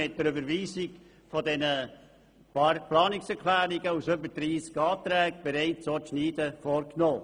Mit der Überweisung der Planungserklärungen haben wir bereits geschnitten.